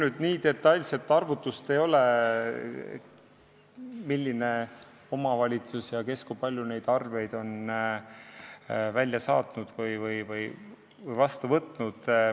Mul nii detailset arvutust ei ole, milline omavalitsus kui palju arveid on välja saatnud või vastu võtnud.